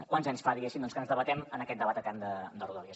quants anys fa diguéssim doncs que ens debatem en aquest debat etern de rodalies